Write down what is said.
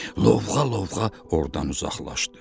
Lovğa-lovğa ordan uzaqlaşdı.